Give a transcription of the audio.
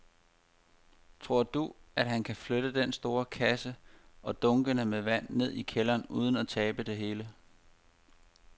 Tror du, at han kan flytte den store kasse og dunkene med vand ned i kælderen uden at tabe det hele?